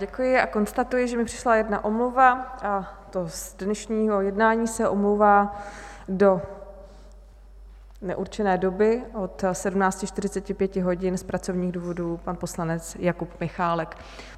Děkuji a konstatuji, že mi přišla jedna omluva, a to z dnešního jednání se omlouvá do neurčené doby od 17.45 hodin z pracovních důvodů pan poslanec Jakub Michálek.